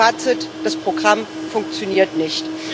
Fazit Das Programm funktioniert nicht.